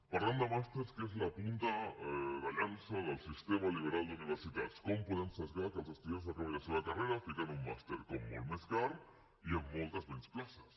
parlant de màsters que és la punta de llança del sistema liberal d’universitats com podem esbiaixar que els estudiants acabin la seva carrera posant hi un màster com molt més car i amb moltes menys places